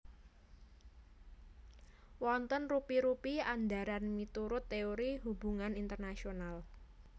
Wonten rupi rupi andharan miturut teori hubungan internasional